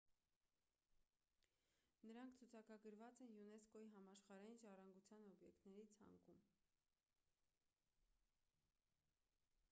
նրանք ցուցակագրված են յունեսկօ-ի համաշխարհային ժառանգության օբյեկտների ցանկում